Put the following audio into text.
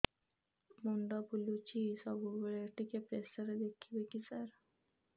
ମୁଣ୍ଡ ବୁଲୁଚି ସବୁବେଳେ ଟିକେ ପ୍ରେସର ଦେଖିବେ କି ସାର